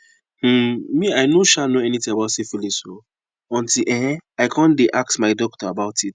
um me i no um know anything about syphilis o until um i come the ask my doctor about it